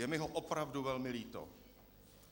Je mi ho opravdu velmi líto.